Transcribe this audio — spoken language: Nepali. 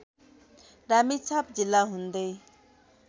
रामेछाप जिल्ला हुँदै